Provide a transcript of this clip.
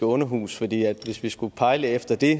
underhus fordi hvis vi skulle pejle efter det